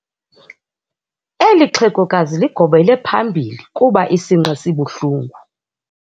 Eli xhegokazi ligobele phambili kuba isinqe sibuhlungu.